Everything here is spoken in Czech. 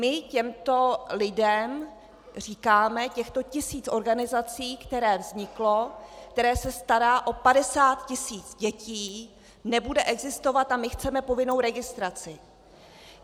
My těmto lidem říkáme: těchto tisíc organizací, které vznikly, které se starají o 50 tisíc dětí, nebude existovat a my chceme povinnou registraci.